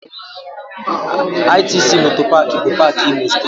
ITC MOTOR Park bụ paak Imo Steeti